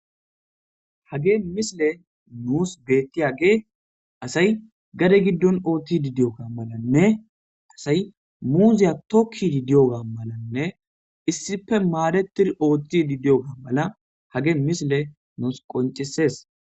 Hagey misiley nus bettiyagey asay gadde giddon ottidi diyoga mallanne asay muuziya tokkiddi diyoga malanne issippe madettidi Ooththidi diyoga mala hagey misiley nus qonccises